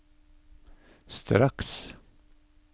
straks